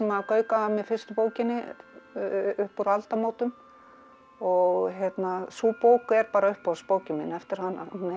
gaukaði að mér fyrstu bókinni upp úr aldamótum og sú bók er bara uppáhaldsbókin mín eftir hana hún heitir